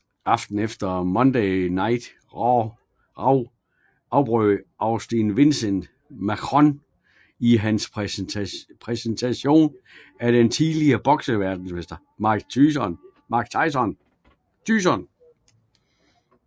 Aftenen efter på Monday Night Raw afbrød Austin Vince McMahon i hans præsentation af den tidligere bokseverdensmester Mike Tyson